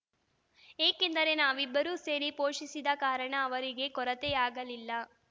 ಏಕೆಂದರೆ ನಾವಿಬ್ಬರೂ ಸೇರಿ ಪೋಷಿಸಿದ ಕಾರಣ ಅವರಿಗೆ ಕೊರತೆಯಾಗಲಿಲ್ಲ